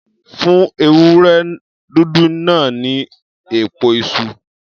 Fún ewúré dúdú náà ní èpo iṣu.